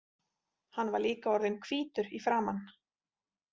Hann var líka orðinn hvítur í framan.